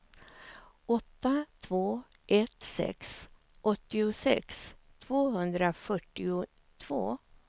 åtta två ett sex åttiosex tvåhundrafyrtiotvå